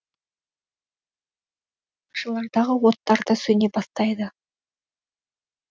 бақшалардағы оттар да сөне бастайды